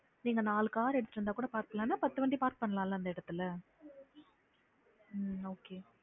நீங்க நாலு car எடுத்திட்டு வந்து கூட park பண்ணலாம் இல்ல பத்து வண்டி park பண்ணலாம்ல அந்த இடத்துல உம் okay